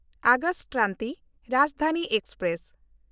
August Kranti Rajdhani express